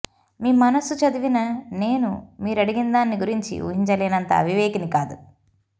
మీ మనసు చదివిన నేను మీరడిగినదాన్ని గురించి ఊహించలేనంత అవివేకిని కాదు